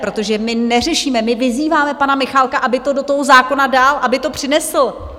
Protože my neřešíme, my vyzýváme pana Michálka, aby to do toho zákona dal, aby to přinesl!